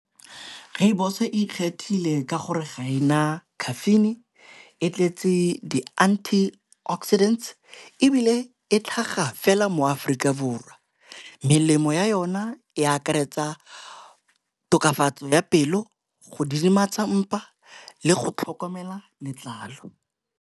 Rooibos e ikgethile ka gore ga e na caffeine e tletse di-antioxidants, ebile e tlhaga fela mo Aforika Borwa. Melemo ya yona e akaretsa tokafatso ya pelo go didimatsa mpa le go tlhokomela letlalo.